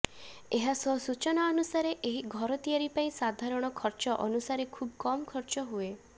ଏହାସହ ସୂଚନା ଅନୁସାରେ ଏହି ଘର ତିଆରି ପାଇଁ ସାଧାରଣ ଖର୍ଚ୍ଚ ଅନୁସାରେ ଖୁବ କମ୍ ଖର୍ଚ୍ଚ ହୁଏ